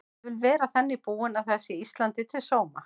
Ég vil vera þannig búin að það sé Íslandi til sóma.